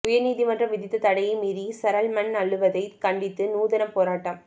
உயா்நீதிமன்றம் விதித்த தடையை மீறி சரள் மண் அள்ளுவதை கண்டித்து நூதன போராட்டம்